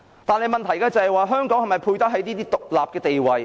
但是，問題是香港是否配得起這個獨特地位？